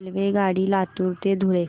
रेल्वेगाडी लातूर ते धुळे